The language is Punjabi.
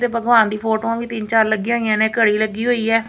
ਦੇ ਭਗਵਾਨ ਦੀ ਫੋਟੋਂ ਵੀ ਤਿੰਨ ਚਾਰ ਲੱਗੀਆਂ ਹੋਈਆਂ ਨੇ ਘੜੀ ਲੱਗੀ ਹੋਈ ਹੈ।